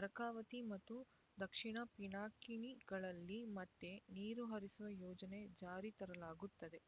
ಅರ್ಕಾವತಿ ಮತ್ತು ದಕ್ಷಿಣ ಪಿನಾಕಿನಿಗಳಲ್ಲಿ ಮತ್ತೇ ನೀರು ಹರಿಸುವ ಯೋಜನೆ ಜಾರಿ ತರಲಾಗುತ್ತದೆ